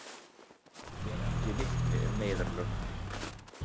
Ber ekki vitni um neyðarlög